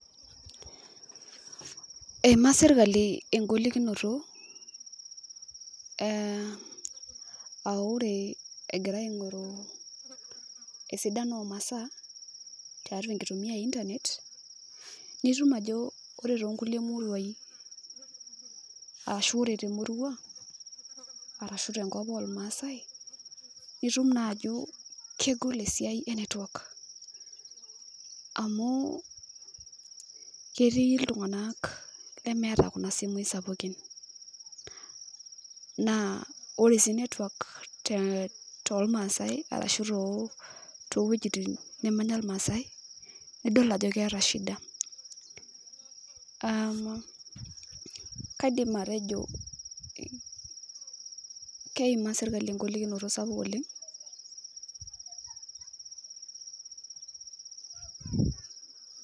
Eimaa sirkali egolikinoto ah ore egira aing'oru esidano omasaa tiatua enkitumia e Internet, nitum ajo ore tonkulie muruain ashu ore temurua, arashu tenkop ormaasai, nitum najo kegol esiai enetwak. Amu ketii iltung'anak lemeeta kuna simui sapukin. Naa ore si netwak tolmaasai, arashu towuejiting nemanya irmaasai, nidol ajo keeta shida. Kaidim atejo keimaa sirkali egolikinoto sapuk oleng.